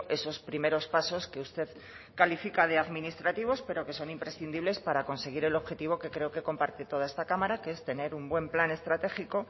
esos primeros pasos que usted califica de administrativos pero que son imprescindibles para conseguir el objetivo que creo que comparte toda esta cámara que es tener un buen plan estratégico